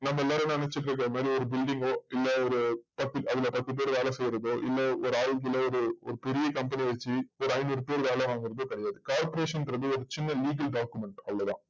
நம்ம எல்லாரும் நெனச்சிட்டு இருக்கமாரி ஒரு building ஓ இல்ல ஒரு பத் அதுல பத்து பேர் வேல செய்றதோ ஒரு ஒரு பெரிய company வச்சு ஒரு ஐந்நூறு பேர் வேல வாங்குறது corporation றது ஒரு சின்ன legal document அவ்ளோத